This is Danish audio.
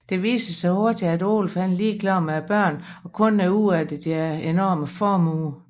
Det viser sig hurtigt at Olaf er ligeglad med børnene og kun er ude efter deres enorme formue